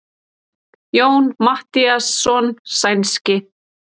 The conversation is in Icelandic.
Jón Matthíasson sænski.